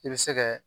I bɛ se kɛ